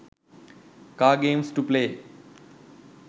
car games to play